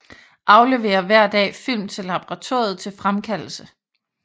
Afleverer hver dag film til laboratoriet til fremkaldelse